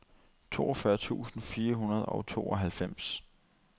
toogfyrre tusind fire hundrede og tooghalvfems